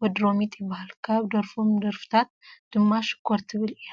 ወዲ ሮሚጥ ይበሃል። ካብ ደረፎም ደርፍታት ድማ ሽኮር ትብል እያ።